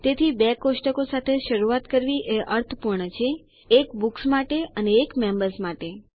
તેથી બે કોષ્ટકો સાથે શરૂઆત કરવી એ અર્થપૂર્ણ છે એક બુક્સ માટે અને એક મેમ્બર્સ માટે